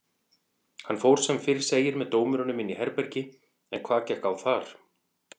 Hann fór sem fyrr segir með dómurunum inn í herbergi en hvað gekk á þar?